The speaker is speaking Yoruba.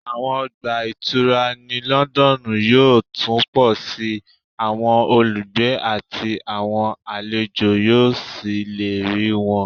Àwọn ọgbà ìtura ní London yóò tún pọ̀ sí i, àwọn olùgbé àti àwọn àlejò yóò sì lè rí wọn